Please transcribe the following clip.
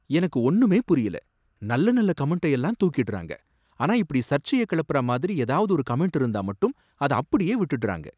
எனக்கு ஒன்னுமே புரியல, நல்ல நல்ல கமெண்ட்டை எல்லாம் தூக்கிடுறாங்க, ஆனா இப்படி சர்ச்சைய கிளப்புற மாதிரி ஏதாவது கமெண்ட் இருந்தா மட்டும் அத அப்படியே விட்டுடுறாங்க.